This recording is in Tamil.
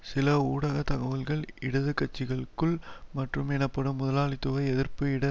சில ஊடக தகவல்கள் இடது கட்சிகளுக்குள் மற்றும் எனப்படும் முதலாளித்துவ எதிர்ப்பு இடது